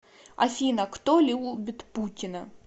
афина кто любит путина